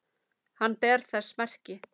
Hann ber þess merki